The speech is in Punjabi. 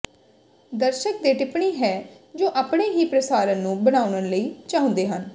ਦਰਸ਼ਕ ਦੇ ਟਿੱਪਣੀ ਹੈ ਜੋ ਆਪਣੇ ਹੀ ਪ੍ਰਸਾਰਨ ਨੂੰ ਬਣਾਉਣ ਲਈ ਚਾਹੁੰਦੇ ਹਨ